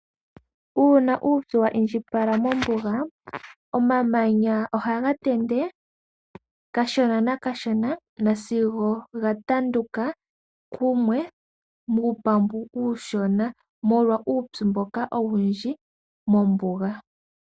Uuna uupyu wa indjipala mombuga, omamanya ohaga tende kashona nakashona, sigo ga tanduka kumwe muupambu uushona. Molwa uupyu mboka owundji mombuga.